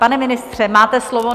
Pane ministře, máte slovo.